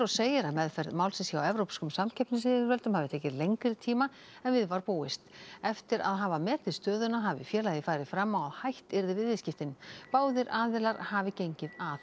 segir að meðferð málsins hjá evrópskum samkeppnisyfirvöldum hafi tekið lengri tíma en við var búist eftir að hafa metið stöðuna hafi félagið farið fram á að hætt yrði við viðskiptin báðir aðilar hafi gengið að